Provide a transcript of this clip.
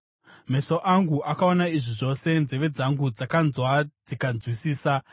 “Meso angu akaona izvi zvose, nzeve dzangu dzakanzwa dzikazvinzwisisa.